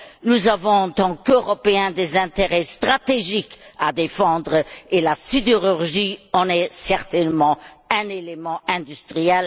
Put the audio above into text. Nous avons, en tant qu'Européens, des intérêts stratégiques à défendre et la sidérurgie en est certainement un élément industriel.